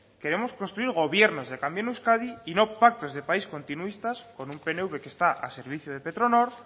queremos construir gobiernos que cambien euskadi y no pactos de país continuistas con un pnv que está al servicio de petronor